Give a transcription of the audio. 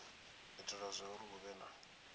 itela zwauri hu vhe na